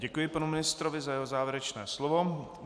Děkuji panu ministrovi za jeho závěrečné slovo.